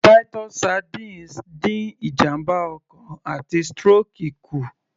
Titus sardines dín ìjàmbá ọkàn àti stroke kù